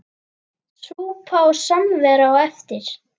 Súpa og samvera á eftir.